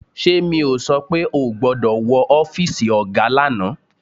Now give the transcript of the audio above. Ṣé mi ò sọ pé ò gbọ́dọ̀ wọ ọ́fíìsì ọ̀gá lánàá